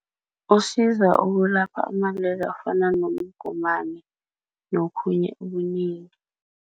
Usiza ukulapha amalwele afana nomgomani nokhunye okunengi.